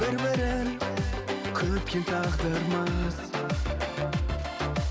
бір бірін күткен тағдырмыз